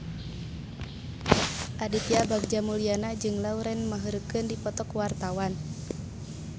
Aditya Bagja Mulyana jeung Lauren Maher keur dipoto ku wartawan